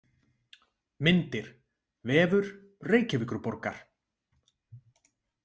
Myndir: Vefur Reykjavíkurborgar.